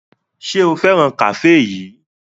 Ṣé o fẹ́ràn kafe yìí?